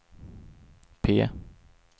P